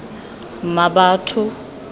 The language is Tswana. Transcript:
mmabatho